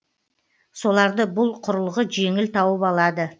соларды бұл құрылғы жеңіл тауып алады